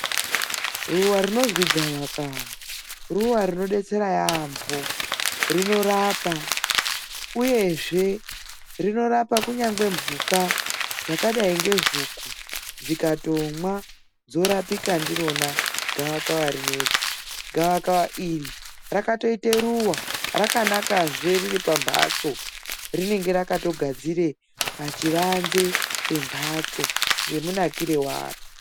Ruwa rinozwi gavakava, ruwa rinodetsera yaampho. Rinorapa uyezve rinorapa kunyangwe mphuka dzakadai ngehuku, dzikatomwa dzorapika ndirona gavakava rineri. Gavakava iri rakatoite ruwa, rakanakazve riri pa mphatso, rinenge rakatogadzira pachivanze pemphatso ngemunakire waro.